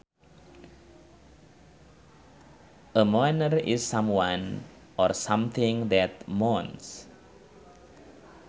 A moaner is someone or something that moans